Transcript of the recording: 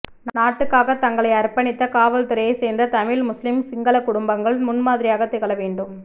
நாட்டுக்காக தங்களை அர்ப்பணித்த காவல்துறையைச் சேர்ந்த தமிழ் முஸ்லிம் சிங்களக் குடும்பங்கள் முன்மாதிரியாகத் திகழ வேண்டும்